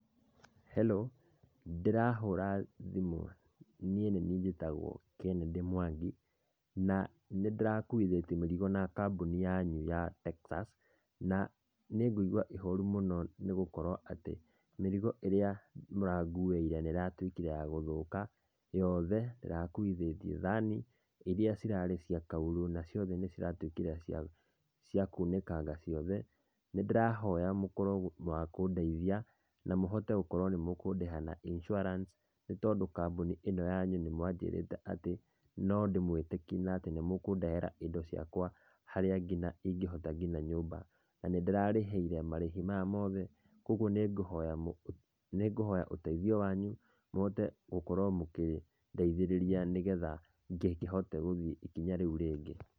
Hello. Ndĩrahũra thimũ niĩ nĩ niĩ njĩtagũo Kennedy Mwangi, na nĩ ndĩrakuithĩtie mĩrigo na kambuni yanyu ya Texas, na nĩ ngũigua ihoru mũno nĩ gũkorwo atĩ mĩrigo ĩrĩa mũranguĩire nĩ ĩratuĩkire ya gũthũka yothe, ndĩrakuithĩtie thani iria cirarĩ cia kaurũ na ciothe nĩ ciratuĩkíire cia, cia kunĩkanga ciothe, nĩndĩrahoya mũkorwo akũndeithia na mũhote gũkorwo nĩ mũkũndĩha na insurance nĩ tondũ kambunĩ ĩno yanyu nĩ mwanjĩrĩte atĩ, no ndĩmwĩtĩkie na atĩnĩ mũkũndehera indo ciakwa harĩa nginya ingĩhota nginya nyũmba, na nĩ ndĩrarĩhĩire marĩhi maya mothe, kogwo nĩ nguhoya nĩ ngũhoya ũteithio wanyu, mũhote gũkorwo mũkĩndeithĩrĩria nĩgetha ngĩkĩhote gũthiĩ ikinya rĩu rĩngĩ.